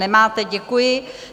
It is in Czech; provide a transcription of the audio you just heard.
Nemáte, děkuji.